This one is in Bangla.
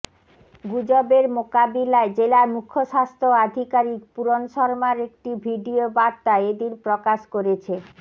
গুজবের মোকাবিলায় জেলার মুখ্য স্বাস্থ্য আধিকারিক পূরণ শর্মার একটি ভিডিও বার্তা এ দিন প্রকাশ করেছে